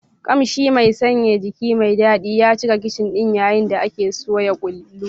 Kamshi mai sanyaya jiki mai daɗi ya cika kicin ɗin yayin da ake soya kullu.